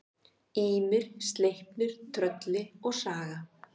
Ýmir, Sleipnir, Trölli og Saga.